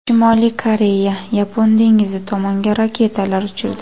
Shimoliy Koreya Yapon dengizi tomonga raketalar uchirdi.